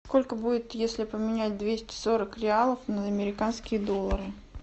сколько будет если поменять двести сорок реалов на американские доллары